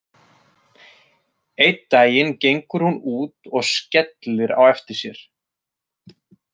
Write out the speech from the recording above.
Einn daginn gengur hún út og skellir á eftir sér.